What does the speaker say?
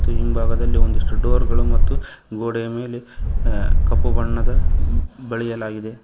ತ್ತು ಹಿಂಭಾಗದಲ್ಲಿ ಒಂದಿಷ್ಟು ಡೋರ್ ಗಳು ಮತ್ತು ಗೋಡೆಯ ಅ ಮೇಲೆ ಕಪ್ಪು ಬಣ್ಣದ ಬಳಿಯಲಾಗಿದೆ.